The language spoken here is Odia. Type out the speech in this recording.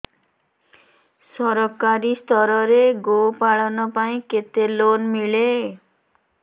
ସରକାରୀ ସ୍ତରରେ ଗୋ ପାଳନ ପାଇଁ କେତେ ଲୋନ୍ ମିଳେ